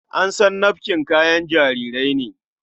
An san nafkin kayan jarirai ne.